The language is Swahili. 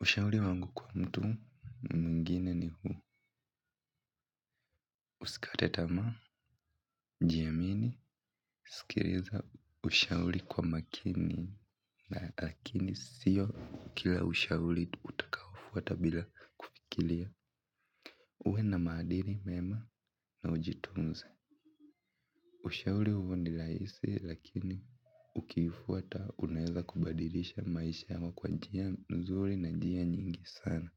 ushauri wangu kwa mtu mwingine ni huu: Usikate tamaa, jiamini, usikilize ushauri kwa makini. Lakini sio kila ushauri utufuata bila kufikiria. Uwe na maadili mema na ujitunze. Ushauri huu ni rahisi, lakini ukifuata unaweza kubadilisha maisha yako kwa njia nzuri na kwa njia nyingi sana.